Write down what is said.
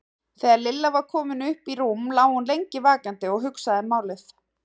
Þegar Lilla var komin upp í rúm lá hún lengi vakandi og hugsaði málið.